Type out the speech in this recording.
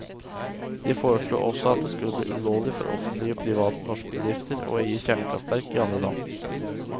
De foreslo også at det skulle bli ulovlig for offentlige og private norske bedrifter å eie kjernekraftverk i andre land.